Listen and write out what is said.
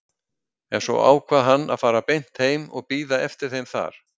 En svo ákvað hann að fara beint heim og bíða eftir þeim þar.